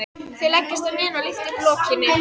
Þau leggjast á hnén og lyfta upp lokinu.